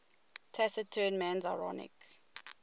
taciturn man's ironic